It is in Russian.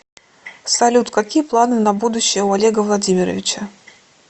салют какие планы на будущее у олега владимировича